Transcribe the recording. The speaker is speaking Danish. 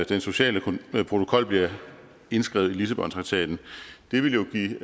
den sociale protokol blev indskrevet i lissabontraktaten det ville jo give